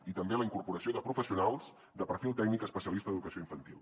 i també la incorporació de professionals de perfil tècnic especialista d’educació infantil